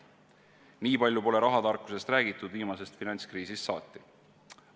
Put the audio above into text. Nii palju pole rahatarkusest räägitud viimasest finantskriisist saati.